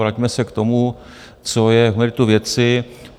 Vraťme se k tomu, co je k meritu věci.